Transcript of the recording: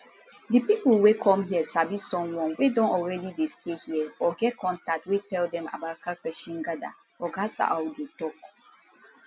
di people wey come here sabi someone wey don already dey stay here or get contact wey tell dem about karkashin gada oga saadu tok